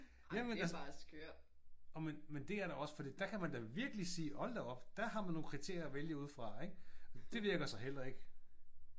Jamen altså jamen det er da også for der kan man da virkelig sige hold da op der har man nogle kriterier man kan vælge ud fra. Det virker så heller ikke